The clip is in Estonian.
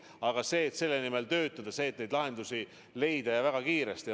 Aga selle nimel tuleb töötada, et lahendusi leida, ja väga kiiresti.